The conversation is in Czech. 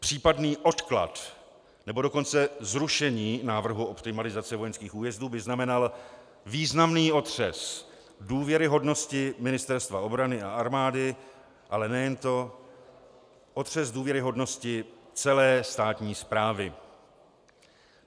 Případný odklad, nebo dokonce zrušení návrhu optimalizace vojenských újezdů by znamenaly významný otřes důvěryhodnosti Ministerstva obrany a armády, ale nejen to, otřes důvěryhodnosti celé státní správy.